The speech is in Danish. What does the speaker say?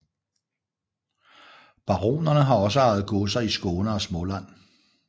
Baronerne har også ejet godser i Skåne og Småland